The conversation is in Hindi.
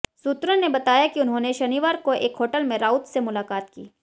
सूत्रों ने बताया कि उन्होंने शनिवार को एक होटल में राउत से मुलाकात की